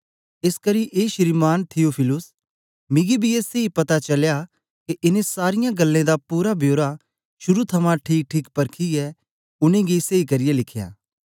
एसकरी ए श्रीमान् थियुफिलुस मिगी बी ए सेई पता चलया के इनें सारीयां गल्लें दा पूरा बेओरा शुरू थमां ठीकठीक परखीयै उनेंगी सेई करियै लिखेया